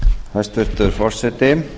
hæstvirtur forseti